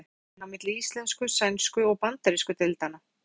Hver er mesti munurinn á milli íslensku-, sænsku- og bandarísku deildanna?